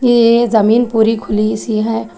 ये जमीन पूरी खुली सी है।